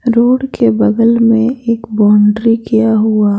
Road के बगल में एक बाउंड्री किया हुआ ।